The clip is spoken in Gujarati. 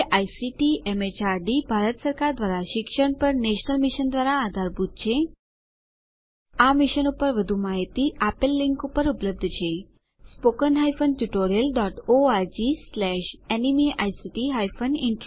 જે આઇસીટી એમએચઆરડી ભારત સરકાર દ્વારા શિક્ષણ પર નેશનલ મિશન દ્વારા આધારભૂત છે આ મિશન પર વધુ માહીતી આપેલ લીંક પર ઉપલબ્ધ છે spoken hyphen tutorial dot ORG slash NMEICT hyphen intro